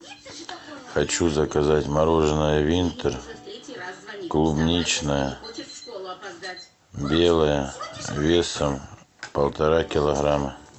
хочу заказать мороженое винтер клубничное белое весом полтора килограмма